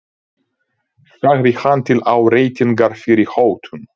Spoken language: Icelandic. sagði hann til áréttingar fyrri hótun.